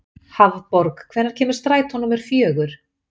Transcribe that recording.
Hafborg, hvenær kemur strætó númer fjögur?